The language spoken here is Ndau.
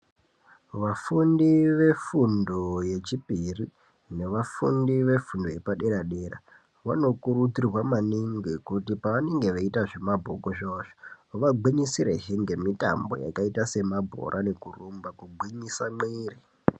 Vafundi vefundo yechipiri, nevafundi vefundo yepadera dera, vanokurudzirwa maningi kuti pavanenge veyita zvemabhuku zvawo, vagwinyisire zvi ngemitambo yakayita semabhora nekurumba kugwinyisa mwiri.